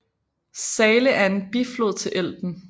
Saale er en biflod til Elben